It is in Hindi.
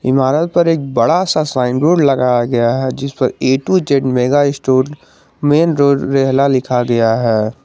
इमारत पर एक बड़ा सा साइन बोर्ड लगाया गया है जिस पर A to Z mega store main road रेहला लिखा गया है।